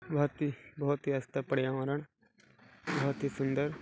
बहुत ही बहुत ही पर्यावरण बहुत ही सूंदर--